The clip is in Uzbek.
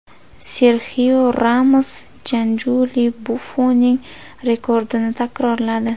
Serxio Ramos Janluiji Buffoning rekordini takrorladi.